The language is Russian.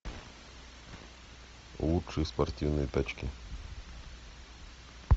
лучшие спортивные тачки